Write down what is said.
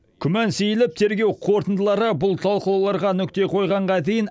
күмән сейіліп тергеу қорытындылары бұл талқылауларға нүкте қойғанға дейін